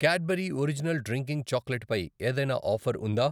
Cadbury original drinking chocolate పై ఏదైనా offer ఉందా?